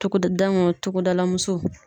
Togodaw togodalamusow